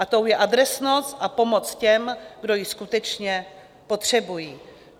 A tou je adresnost a pomoc těm, kdo ji skutečně potřebují.